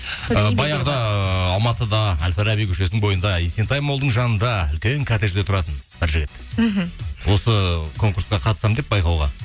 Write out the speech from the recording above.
баяғыда алматыда әл фараби көшесінің бойында есентаймолдың жанында үлкен коттеджде тұратын бір жігіт мхм осы конкурсқа қатысамын деп байқауға